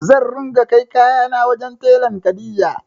Zan ringa kai kayana wajen telan Kadija.